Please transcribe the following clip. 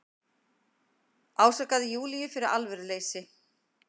Ásakaði Júlíu fyrir alvöruleysi.